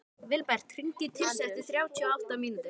Vilbert, hringdu í Tirsu eftir þrjátíu og átta mínútur.